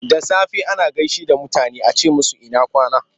Da safe ana gaishe da mutane a ce musu ina kwana?